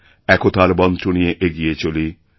একতার মন্ত্র নিয়ে এগিয়ে চলি